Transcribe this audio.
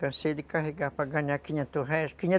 Cansei de carregar para ganhar quinhentos réis, quinhentos